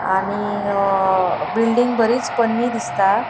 आणि अ बिल्डिंग बरीच पोन्नी दिसता.